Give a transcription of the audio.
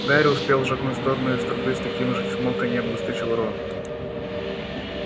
гарри успел шагнуть в сторону из трубы с таким же чмоканьем выскочил рон